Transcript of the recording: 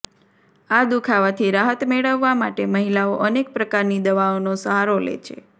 આ દુખાવાથી રાહત મેળવવા માટે મહિલાઓ અનેક પ્રકારની દવાઓનો સહારો લે છે